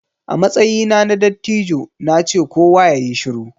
A matsayina na dattijo na ce 'Kowa yayi shiru'!